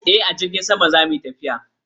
E, a jirgi zamu yi tafiyar.